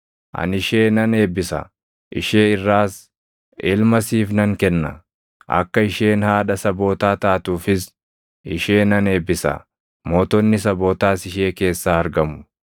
Ani ishee nan eebbisa; ishee irraas ilma siif nan kenna. Akka isheen haadha sabootaa taatuufis ishee nan eebbisa; mootonni sabootaas ishee keessaa argamu.”